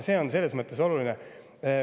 See on selles mõttes oluline.